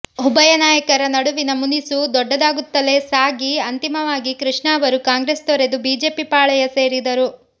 ಉಭಯ ನಾಯಕರ ನಡುವಿನ ಮುನಿಸು ದೊಡ್ಡದಾಗುತ್ತಲೇ ಸಾಗಿ ಅಂತಿಮವಾಗಿ ಕೃಷ್ಣ ಅವರು ಕಾಂಗ್ರೆಸ್ ತೊರೆದು ಬಿಜೆಪಿ ಪಾಳಯ ಸೇರಿದರು